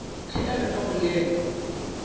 ge a be a bolela